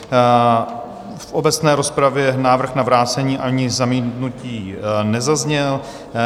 V obecné rozpravě návrh na vrácení ani zamítnutí nezazněl.